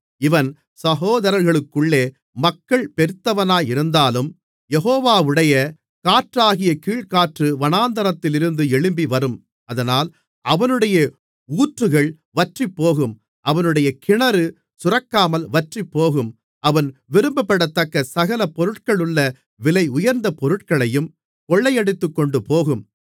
இவன் சகோதரர்களுக்குள்ளே மக்கள் பெருத்தவனாயிருந்தாலும் யெகோவாவுடைய காற்றாகிய கீழ்க்காற்று வனாந்தரத்திலிருந்து எழும்பிவரும் அதனால் அவனுடைய ஊற்றுகள் வற்றிப்போகும் அவனுடைய கிணறு சுரக்காமல் வற்றிப்போகும் அது விரும்பப்படத்தக்க சகல பொருட்களுள்ள விலையுயர்ந்த பொருட்களையும் கொள்ளையடித்துக்கொண்டுபோகும்